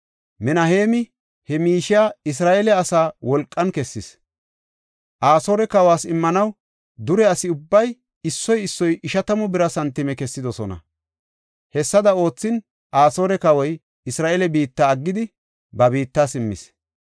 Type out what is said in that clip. Minaheemi he miishiya Isra7eele asaa wolqan kessis; Asoore kawas immanaw dure asi ubbay issoy issoy ishatamu bira santime kessidosona. Hessada oothin, Asoore kawoy Isra7eele biitta aggidi, ba biitta simmis.